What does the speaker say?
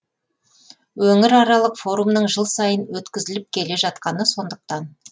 өңіраралық форумның жыл сайын өткізіліп келе жатқаны сондықтан